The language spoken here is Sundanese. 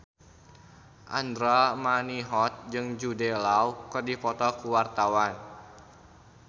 Andra Manihot jeung Jude Law keur dipoto ku wartawan